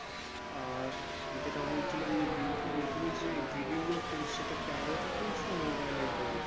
আর যেটা বলছিলাম যেটা বোলছিলাম যে ইউটিউবে যে video গুলো করিস সেটা camera তে করিস না mobile এই করিস?